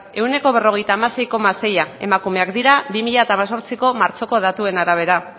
ehuneko berrogeita hamasei koma sei emakumeak dira bi mila hemezortziko martxoko datuen arabera